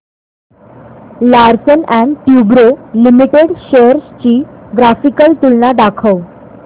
Larsen and टुर्बो limited shares ची graphical तुलना दाखव